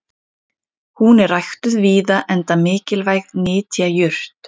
hún er ræktuð víða enda mikilvæg nytjajurt